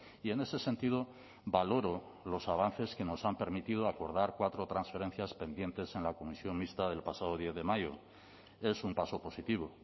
y en ese sentido valoro los avances que nos han permitido acordar cuatro transferencias pendientes en la comisión mixta del pasado diez de mayo es un paso positivo